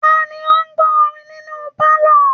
Ta ni ó ń gbọ orin nínú pálọ̀